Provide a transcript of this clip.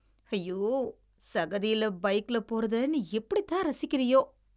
ஐயோ. சகதியில பைக்ல போறத நீ எப்படித்தான் ரசிக்கிறியோ?